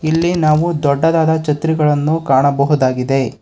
ಇಲ್ಲಿ ನಾವು ದೊಡ್ಡದಾದ ಛತ್ರಿಗಳನ್ನು ಕಾಣಬಹುದಾಗಿದೆ.